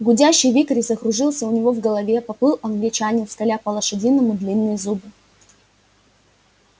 гудящий вихрь закружился у него в голове поплыл англичанин скаля по-лошадиному длинные зубы